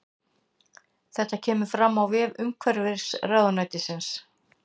Þetta kemur fram á vef umhverfisráðuneytisins